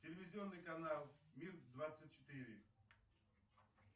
телевизионный канал мир двадцать четыре